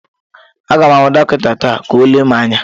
Aga m ahụ dọkịta taa ka ọ lelee m anya.